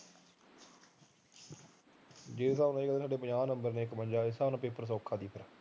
ਜੇ ਉਹਦੇ ਪੰਜਾਹ ਇਕਵੰਜਾ ਨੰਬਰ ਨਾਲ ਪੇਪਰ ਸੋਖਾ ਸੀ